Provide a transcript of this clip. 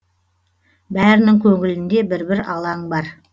бәрінің көңілінде бір бір алаң бар